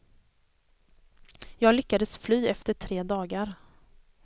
Jag lyckades fly efter tre dagar!